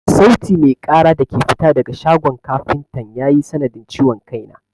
Sauti mai ƙara da ke fita daga shagon kafintan ya yi sanadin ciwon kai na.